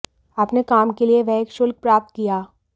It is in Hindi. अपने काम के लिए वह एक शुल्क प्राप्त किया